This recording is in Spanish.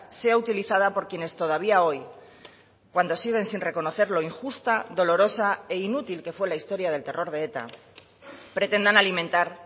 sea utilizada por quienes todavía hoy cuando siguen sin reconocer lo injusta dolorosa e inútil que fue la historia del terror de eta pretendan alimentar